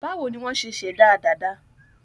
Báwo ni wọ́n ṣe ṣẹ̀dá dàda?